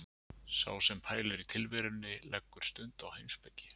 Sá sem pælir í tilverunni leggur stund á heimspeki.